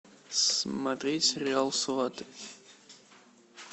смотреть сериал сваты